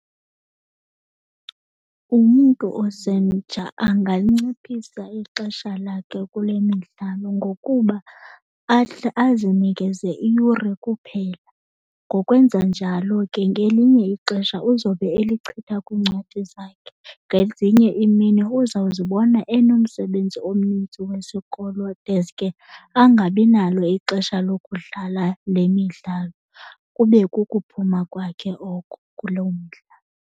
Umntu osemtsha anganciphisa ixesha lakhe kule midlalo ngokuba azinikeze iyure kuphela. Ngokwenza njalo ke ngelinye ixesha uzobe elichitha kwiincwadi zakhe. Ngezinye iimini uzawuzibona enomsebenzi omnintsi wesikolo deske angabi nalo ixesha lokudlala le midlalo, kube kukuphuma kwakhe oko kuloo mdlalo.